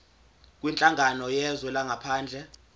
kwinhlangano yezwe langaphandle